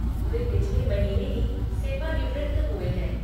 वे पिछले महीने ही सेवानिवृत्त हुए हैं।